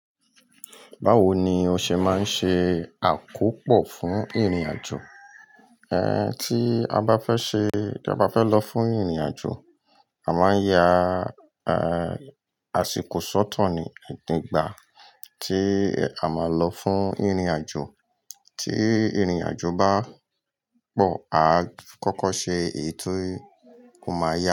Báwo ni o ṣe máa ń ṣe àkópò fún ìrìnàjò? Tí a bá fẹ́ ṣe, tí a bá fẹ́ lọ fún ìrìnàjò, a máa ń yá, àsìkò sọ́to ní, ati igbà, tí a máa lọ fún ìrìnàjò. Tí ìrìnàjò bá pọ̀, a kọ́kọ́ ṣe ètò ó máa yá.